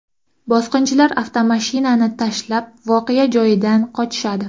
Bosqinchilar avtomashinani tashlab voqea joyidan qochishadi.